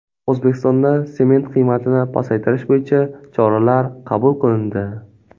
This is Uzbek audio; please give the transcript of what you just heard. O‘zbekistonda sement qiymatini pasaytirish bo‘yicha choralar qabul qilindi.